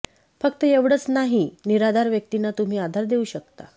फक्त एवढंच नाही निराधार व्यक्तींना तुम्ही आधार देऊ शकता